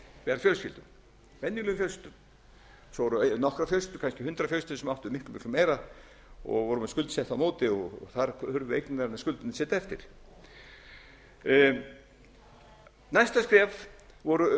fjölskyldum venjulegum fjölskyldum svo voru nokkrar fjölskyldur kannski hundrað fjölskyldur sem áttu miklu miklu meira og voru með skuldsett á móti þar hurfu eignirnar en skuldirnar sitja eftir næsta skref voru uppsagnir